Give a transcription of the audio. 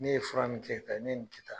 Ne ye fura nin kɛ tan, ne ye nin kɛ tan.